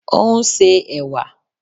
O nse ẹ̀wà